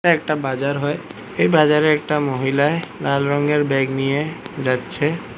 এটা একটা বাজার হয় এই বাজারে একটা মহিলায় লাল রঙের ব্যাগ নিয়ে যাচ্ছে।